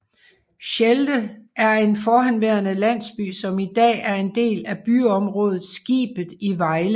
Slelde er en forhenværende landsby som i dag er en del af byområdet Skibet i Vejle